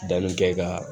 Danni kɛ kaa